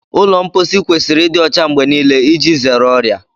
Ụlọ mposi kwesịrị ịdị ọcha mgbe niile iji zere ọrịa